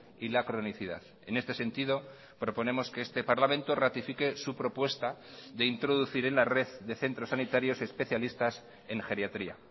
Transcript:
y la cronicidad en este sentido proponemos que este parlamento ratifique su propuesta de introducir en la red de centros sanitarios especialistas en geriatría